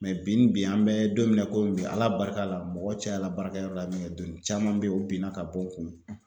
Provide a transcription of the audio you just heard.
bi bi an bɛ don min na komi bi Ala barika la mɔgɔ cayala baara kɛ yɔrɔ la min kɛ don caman bɛ ye o bina ka bɔ n kun